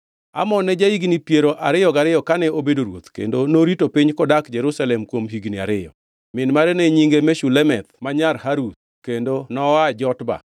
Amon ne ja-higni piero ariyo gariyo kane obedo ruoth, kendo norito piny kodak Jerusalem kuom higni ariyo. Min mare ne nyinge Meshulemeth ma nyar Haruz, kendo noa Jotba.